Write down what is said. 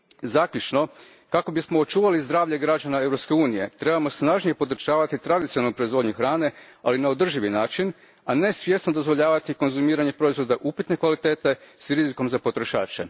Zaključno, kako bismo očuvali zdravlje građana Europske unije, trebamo snažnije podržavati tradicionalnu proizvodnju hrane, ali na održiv način, a ne svjesno dozvoljavati konzumiranje proizvoda upitne kvalitete s rizikom za potrošače.